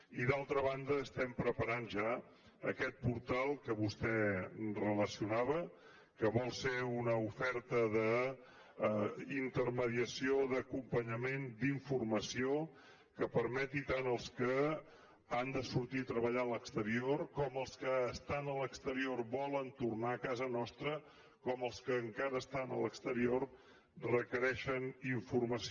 i d’altra banda estem preparant ja aquest portal que vostè relacionava que vol ser una oferta d’intermediació d’acompanyament d’informació que permeti tant als que han de sortir a treballar a l’exterior com els que estan a l’exterior i volen tornar a casa nostra com els que encara estan a l’exterior que requereixen informació